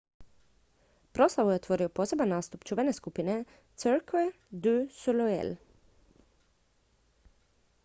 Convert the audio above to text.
proslavu je otvorio poseban nastup čuvene skupine cirque du soleil